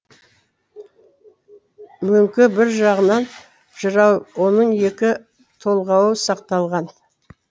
мөңке бір жағынан жырау оның екі толғауы сақталған